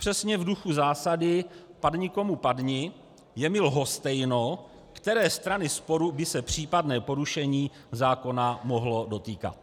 Přesně v duchu zásady "padni komu padni" je mi lhostejno, které strany sporu by se případné porušení zákona mohlo dotýkat.